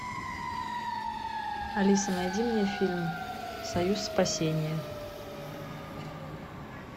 алиса найди мне фильм союз спасения